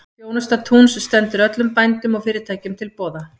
Þjónusta Túns stendur öllum bændum og fyrirtækjum til boða.